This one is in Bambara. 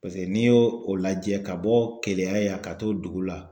Paseke n'i y'o o lajɛ ka bɔ Keleya yan ka t'o dugu la